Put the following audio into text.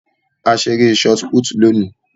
A ṣe eré shotput lóni.